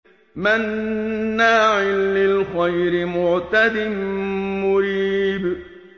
مَّنَّاعٍ لِّلْخَيْرِ مُعْتَدٍ مُّرِيبٍ